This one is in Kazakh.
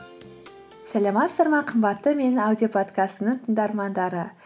сәлеметсіздер ме қымбатты менің аудиоподкастымның тыңдармандары